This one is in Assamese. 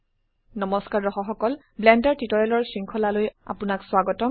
নমস্কাৰ দৰ্শক সকল ব্লেন্ডাৰ টিউটোৰিয়েলৰ শৃঙ্খলালৈ আপোনাক স্বাগতম